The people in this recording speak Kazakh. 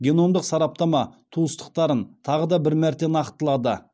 геномдық сараптама туыстықтарын тағы да бір мәрте нақтылады